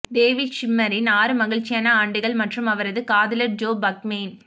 David ஷ்விம்மரின் ஆறு மகிழ்ச்சியான ஆண்டுகள் மற்றும் அவரது காதலர் ஜோ பக்மேன்